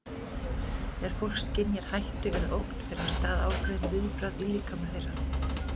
Þegar fólk skynjar hættu eða ógn fer af stað ákveðið viðbragð í líkama þeirra.